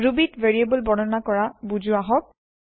ৰুবীত variable বৰ্ণনা কৰা বুজো আহক